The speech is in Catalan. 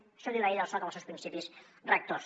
això ho diu la llei del soc en els seus principis rectors